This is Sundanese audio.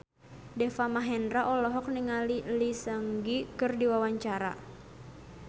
Deva Mahendra olohok ningali Lee Seung Gi keur diwawancara